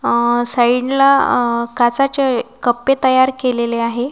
अ साईडला अ काचाचे कप्पे तयार केलेले आहे.